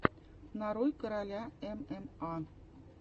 нарой короля мма